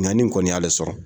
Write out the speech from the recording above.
Ɲani kɔni y'ale sɔrɔ